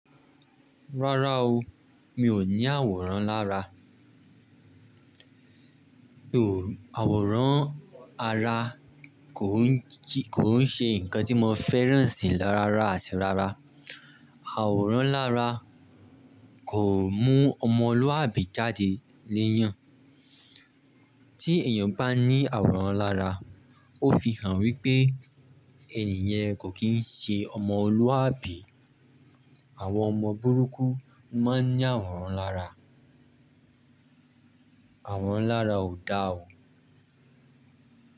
Rárá o, mi ò ní àwòrán lára. Àwòrán ara kò ń ṣe nǹkan tí mo fẹ́ràn sì á rárá àti rárá. Àwòrán lára kò mú ọmọlúwàbí jáde léèyàn. Tí èèyàn bá ní àwòrán lára, ó fi hàn wípé ènìyàn kò kí ń ṣe ọmọlúàbí. Àwọn ọmọ burúkú máa ń ní àwòrán lára. Àwòrán lára ò da o.